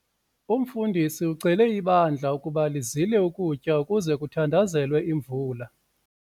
Umfundisi ucele ibandla ukuba lizile ukutya ukuze kuthandazelwe imvula.